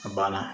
A banna